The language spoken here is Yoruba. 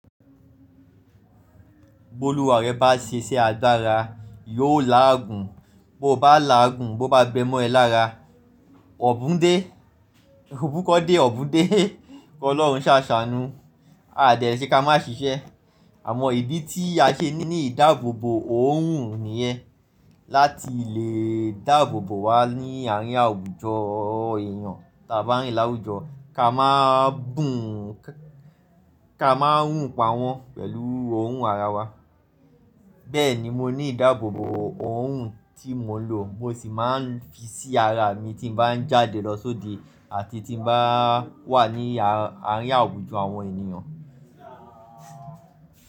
Bólúwaa rẹ bá ṣiṣẹ́ agbara, yóò láàgùn. Boo bá làagùn, bo bá gbẹ́ mọ́ ẹ lára, ọ̀bún dé, òbúkọ́ dé ọ̀bún dé, kí ọlọ́run ṣà ṣàánú. A dẹ̀ le ṣe ká má ṣiṣẹ́. Àmọ ìdí tí a ṣe ní ní ìdáàbòbò òòrùn nìyẹn. Láti lè dáàbòbò wa ní àárín àwùjọ èèyàn tà baa n rin l'áwùjọ ká máà bùn ká máà rùn pawọ́n pẹ̀lú orun ara wa. Bẹ́ẹ̀ni mo ní ìdáàbòbòo òòrùn tí mo n lò mo sì máa ń fi sí ara mi tí mo bá ń jáde lọ sóde àti tí n báa wà ní a, àárín àwùjọ àwọn ènìyàn.